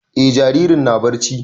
E jaririn na barci